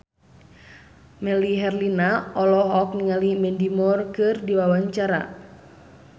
Melly Herlina olohok ningali Mandy Moore keur diwawancara